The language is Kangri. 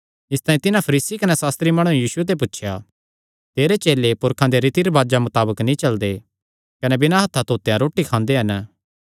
इसतांई तिन्हां फरीसी कने सास्त्री माणुआं यीशु ते पुछया तेरे चेले पुरखां दे रीति रिवाजां मताबक नीं चलदे कने बिना हत्थां धोतेयां रोटी खांदे हन